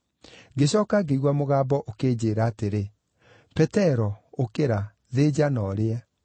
Ngĩcooka ngĩigua mũgambo ũkĩnjĩĩra atĩrĩ, ‘Petero, ũkĩra. Thĩnja, na ũrĩe!’